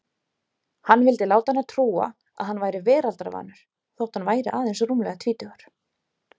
Hann vildi láta hana trúa að hann væri veraldarvanur þótt hann væri aðeins rúmlega tvítugur.